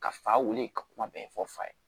Ka fa wuli ka kuma bɛɛ fɔ fa ye